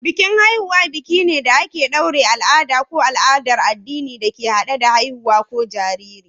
Bikin Haihuwa biki ne da aka ɗaure al'ada ko al'adar addini da ke hade da haihuwa ko jariri.